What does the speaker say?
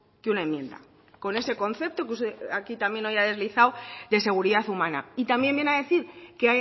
que una enmienda con ese concepto que usted aquí también hoy ha deslizado de seguridad humana y también viene a decir que